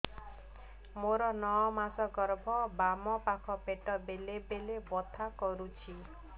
ମୋର ନଅ ମାସ ଗର୍ଭ ବାମ ପାଖ ପେଟ ବେଳେ ବେଳେ ବଥା କରୁଛି